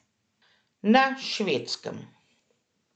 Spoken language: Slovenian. Na Švedskem.